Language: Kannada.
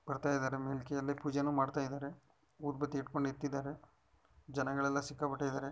ಬರ್ತಯಿದ್ದಾರೆ ಮೇಲ್ಕೆ ಅಲ್ಲೆ ಪೂಜೆನೂ ಮಾಡ್ತಾಇದ್ದಾರೆ. ಉದ್ಭತ್ತಿ ಇಡ್ಕೊಂಡು ನಿಂತ್ತಿದ್ದಾರೆ ಜನಗಳೆಲ್ಲ ಸಿಕ್ಕಾಪಟ್ಟೆ ಇದರೆ.